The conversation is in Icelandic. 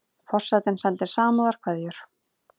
Forsetinn sendir samúðarkveðjur